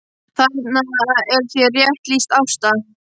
Þarna er þér rétt lýst Ásta!